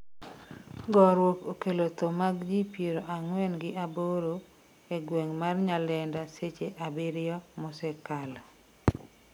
gorruok okelo tho mag jii piero ang'wen gi aboro e gweng' mar Nyalenda seche abiriyo mosekalo